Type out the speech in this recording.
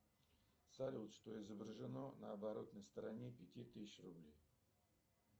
салют что изображено на оборотной стороне пяти тысяч рублей